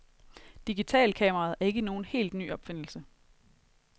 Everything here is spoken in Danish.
Digitalkameraet er ikke nogen helt ny opfindelse.